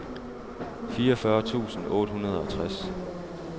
fireogfyrre tusind otte hundrede og tres